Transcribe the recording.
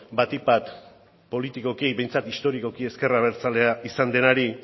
batik bat politikoki behintzat historikoki ezker abertzalea izan denari